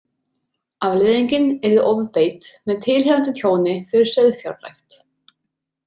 Afleiðingin yrði ofbeit með tilheyrandi tjóni fyrir sauðfjárrækt.